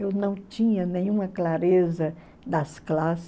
Eu não tinha nenhuma clareza das classes.